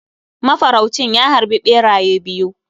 Mafaraucin ya harbi beraye biyu.